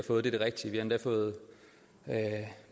endda fået